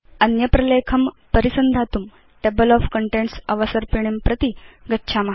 अन्य प्रलेखं परिसन्धातुं टेबल ओफ कन्टेन्ट्स् अवसर्पिणीं प्रति गच्छाम